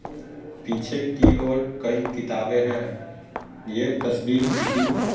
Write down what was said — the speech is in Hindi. पीछे की और कई किताबें हैं यह तस्वीर किसी--